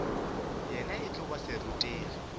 yena e tlo ba serutegi